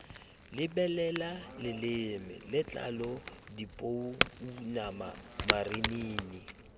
lebelela leleme letlalo dipounama marinini